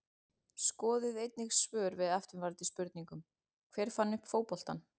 Skoðið einnig svör við eftirfarandi spurningum Hver fann upp fótboltann?